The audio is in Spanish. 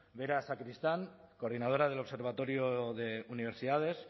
vera sacristán coordinadora del observatorio de universidades